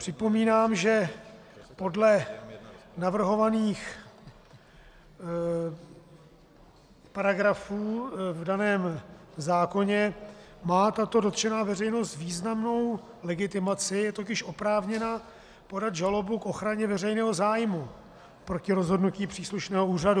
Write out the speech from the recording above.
Připomínám, že podle navrhovaných paragrafů v daném zákoně má tato dotčená veřejnost významnou legitimaci, je totiž oprávněna podat žalobu k ochraně veřejného zájmu proti rozhodnutí příslušného úřadu.